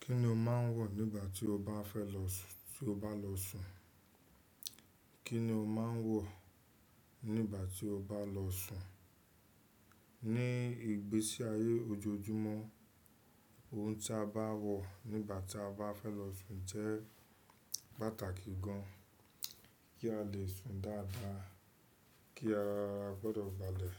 Kí ni o máa ń wọ̀ nígbà tí o bá fẹ́ lọ sún tí o bá lọ sún? Kí ni o máa ń wọ̀ nígbà tí o bá lọ sún? Ní ìgbésí ayé ojoojúmọ́, ohun tí a bá wọ̀ nígbà tí a bá fẹ́ lọ sún jẹ́ pàtàkì gan. Kí a lè sùn dáadáa, kí ara wa gbọ́dọ̀ balẹ̀,